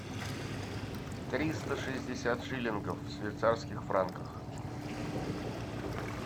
триста шестьдесят шиллингов в швейцарских франках